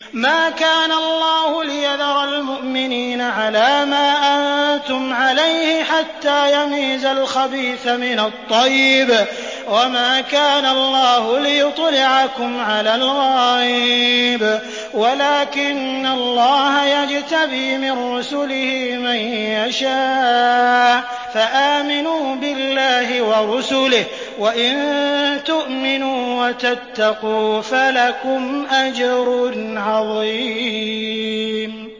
مَّا كَانَ اللَّهُ لِيَذَرَ الْمُؤْمِنِينَ عَلَىٰ مَا أَنتُمْ عَلَيْهِ حَتَّىٰ يَمِيزَ الْخَبِيثَ مِنَ الطَّيِّبِ ۗ وَمَا كَانَ اللَّهُ لِيُطْلِعَكُمْ عَلَى الْغَيْبِ وَلَٰكِنَّ اللَّهَ يَجْتَبِي مِن رُّسُلِهِ مَن يَشَاءُ ۖ فَآمِنُوا بِاللَّهِ وَرُسُلِهِ ۚ وَإِن تُؤْمِنُوا وَتَتَّقُوا فَلَكُمْ أَجْرٌ عَظِيمٌ